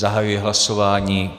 Zahajuji hlasování.